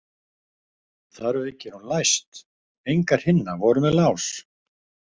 Þar að auki er hún læst, engar hinna voru með lás.